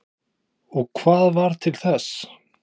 Hugrún: Og hvað varð til þess?